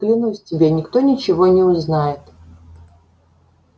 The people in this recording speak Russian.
клянусь тебе никто ничего не узнает